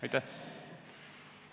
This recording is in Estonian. Aitäh!